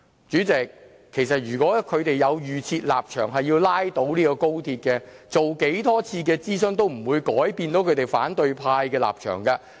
主席，如果他們有預設立場，要拉倒高鐵，無論進行多少次諮詢都不會改變反對派的立場。